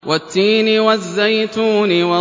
وَالتِّينِ وَالزَّيْتُونِ